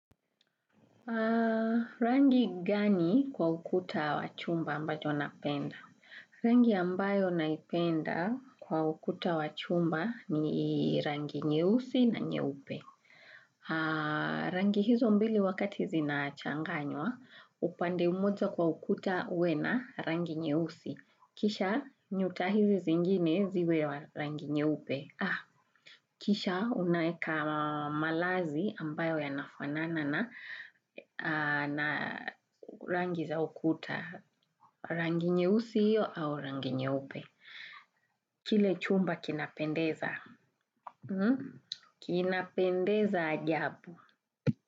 Rangi gani kwa ukuta wa chumba ambacho napenda? Rangi ambayo naipenda kwa ukuta wa chumba ni rangi nyeusi na nyeupe. Rangi hizo mbili wakati zinachanganywa upande mmoja kwa ukuta uwe na rangi nyeusi. Kisha nyuta hizi zingine ziwe wa rangi nyeupe. Kisha unaeka malazi ambayo yanafanana na rangi za ukuta, rangi nyeusi hiyo au rangi nyeupe. Kile chumba kinapendeza. Kinapendeza ajabu.